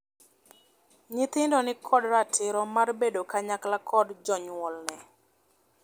Nyithindo ni kod ratiro mar bedo kanyakla kod jonyuolne.